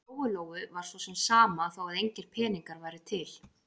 Lóu-Lóu var svo sem sama þó að engir peningar væru til.